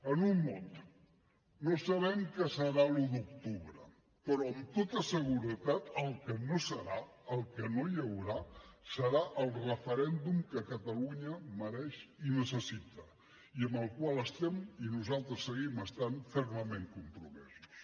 en un mot no sabem què serà l’un d’octubre però amb tota seguretat el que no serà el que no hi haurà serà el referèndum que catalunya mereix i necessita i amb el qual estem nosaltres hi seguim estant fermament compromesos